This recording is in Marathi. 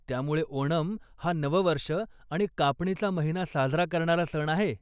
त्यामुळे ओनम हा नववर्ष आणि कापणीचा महिना साजरा करणारा सण आहे.